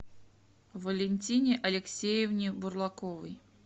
валентине алексеевне бурлаковой